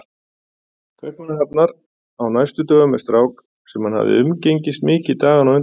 Kaupmannahafnar á næstu dögum með strák sem hann hafði umgengist mikið dagana á undan.